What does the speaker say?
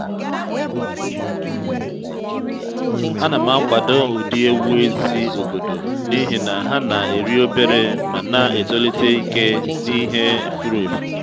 a na m akwado ụdị ewu ezi obodo n’ihi na ha na-eri obere ma na-etolite ike n’ihe furu efu